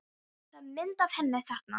Það er mynd af henni þarna.